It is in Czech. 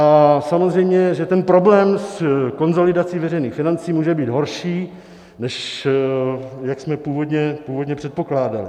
A samozřejmě, že ten problém s konsolidací veřejných financí může být horší, než jak jsme původně předpokládali.